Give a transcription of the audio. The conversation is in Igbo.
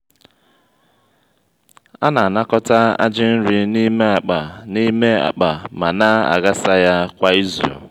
a na-anakọta ajị nri n'ime akpa n'ime akpa ma na-aghasa ya kwa izu.